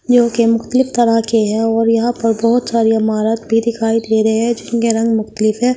जो कि मुख्तलिफ तरह के हैं और यहाँ पर बहुत सारी इमारत भी दिखाई दे रहे हैं जिनके रंग मुख्तलिफ है।